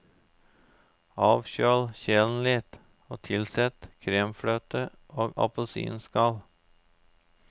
Avkjøl kjelen litt og tilsett kremfløte og appelsinskall.